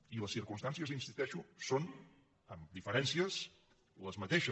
i les circumstàncies hi insisteixo són amb diferències les mateixes